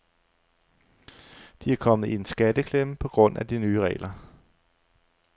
De er kommet i en skatteklemme på grund af de nye regler.